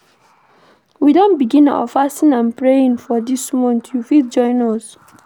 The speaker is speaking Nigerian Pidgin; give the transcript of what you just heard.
We don begin our fasting and praying for dis month, you fit join us.